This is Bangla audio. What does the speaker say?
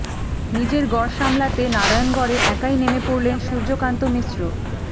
নিজের গড় সামলাতে নারায়ণগড়ে একাই নেমে পড়লেন সূর্যকান্ত মিশ্র